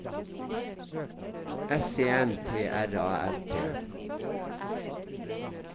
S E N T R A L T